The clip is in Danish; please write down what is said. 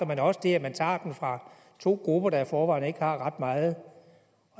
men også det at man tager dem fra to grupper der i forvejen ikke har ret meget